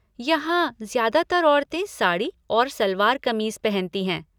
यहाँ, ज्यादातर औरतें साड़ी और सलवार क़मीज़ पहनती हैं।